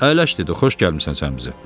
Əyləş dedi, xoş gəlmisən sən bizə.